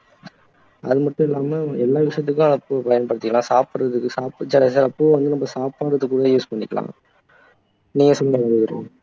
அது மட்டும் இல்லாம எல்லா விசயத்துக்கும் பூவை பயன்படுத்திக்கலாம் சாப்பிடுறதுக்கு சாப்பிட்டு பூவை வந்து நம்ம சாப்பாடுக்குமே use பண்ணிக்கலாம் நீங்க சொல்லுங்க